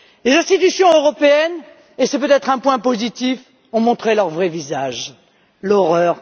Les institutions européennes et c'est peut être un point positif ont montré leur vraie visage l'horreur!